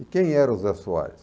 E quem era o Zé Soares?